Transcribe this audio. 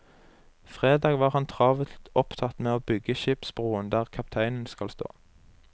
Fredag var han travelt opptatt med å bygge skipsbroen der kapteinen skal stå.